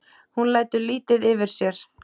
Hún lætur lítið yfir sér.